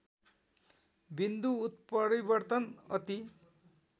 बिन्दु उत्परितर्वन अति